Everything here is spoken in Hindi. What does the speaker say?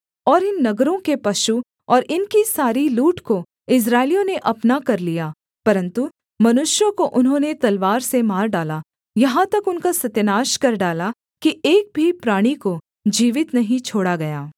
और इन नगरों के पशु और इनकी सारी लूट को इस्राएलियों ने अपना कर लिया परन्तु मनुष्यों को उन्होंने तलवार से मार डाला यहाँ तक उनका सत्यानाश कर डाला कि एक भी प्राणी को जीवित नहीं छोड़ा गया